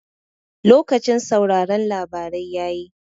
Lokacin sauraron labarai yayi